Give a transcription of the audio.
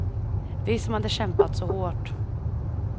Vi som hade kämpat så hårt.